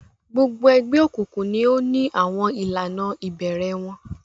gbogbo ègbé òkùnkùn ní àwọn ìlànà ibẹrẹ wón